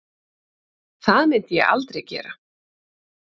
Það myndi ég aldrei gera